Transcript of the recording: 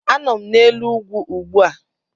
Anọ m n'elu ugwu ugbu a